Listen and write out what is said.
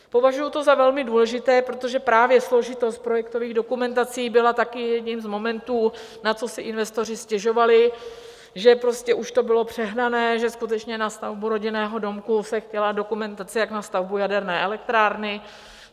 Považuji to za velmi důležité, protože právě složitost projektových dokumentací byla také jedním z momentů, na co si investoři stěžovali, že prostě už to bylo přehnané, že skutečně na stavbu rodinného domku se chtěla dokumentace jak na stavbu jaderné elektrárny.